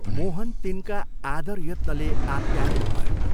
मोहन तिनका आदरयत्नले आप्यायित भयो।